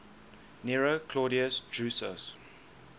nero claudius drusus